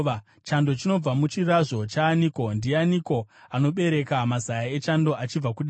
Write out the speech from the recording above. Chando chinobva muchizvaro chaaniko? Ndianiko anobereka mazaya echando achibva kudenga,